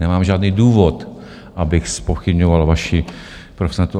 Nemám žádný důvod, abych zpochybňoval vaši profesionalitu.